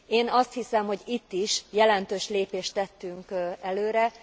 Én azt hiszem, hogy itt is jelentős lépést tettünk előre.